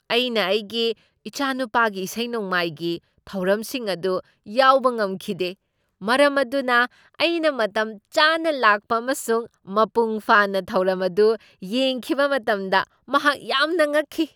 ꯑꯩꯅ ꯑꯩꯒꯤ ꯏꯆꯥꯅꯨꯄꯥꯒꯤ ꯏꯁꯩ ꯅꯣꯡꯃꯥꯏꯒꯤ ꯊꯧꯔꯝꯁꯤꯡ ꯑꯗꯨ ꯌꯥꯎꯕ ꯉꯝꯈꯤꯗꯦ, ꯃꯔꯝ ꯑꯗꯨꯅ ꯑꯩꯅ ꯃꯇꯝꯆꯥꯅ ꯂꯥꯛꯄ ꯑꯃꯁꯨꯡ ꯃꯄꯨꯡ ꯐꯥꯅ ꯊꯧꯔꯝ ꯑꯗꯨ ꯌꯦꯡꯈꯤꯕ ꯃꯇꯝꯗ ꯃꯍꯥꯛ ꯌꯥꯝꯅ ꯉꯛꯈꯤ꯫